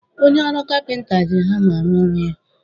Onye ọrụ kapịnta ji hama arụ ọrụ ya